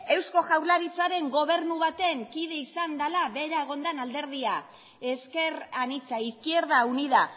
eusko jaurlaritzaren gobernu baten kide izan dela bera egon den alderdia ezker anitza izquierda unida